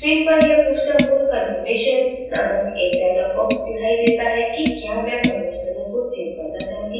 screen पर यह पूछता हुआ confirmation नामक एक dialog box दिखाई देता है कि क्या मैं परिवर्तनों को सेव करना चाहती हूँ